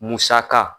Musaka